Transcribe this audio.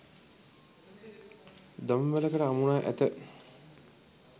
දම්වැලකට අමුණා ඇත.